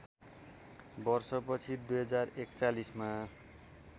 वर्षछि २०४१ मा